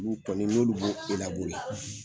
N nu kɔni n n'olu bo elebore